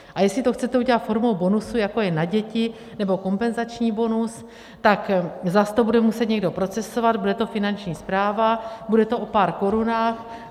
A jestli to chcete udělat formou bonusu, jako je na děti, nebo kompenzační bonus, tak zase to bude muset někdo procesovat, bude to Finanční správa, bude to o pár korunách.